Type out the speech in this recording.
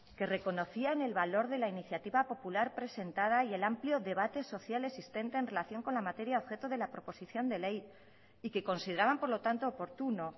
que reconocían el valor de la iniciativa popular presentada y el amplio debate social existente en relación con la materia objeto de la proposición de ley y que consideraban por lo tanto oportuno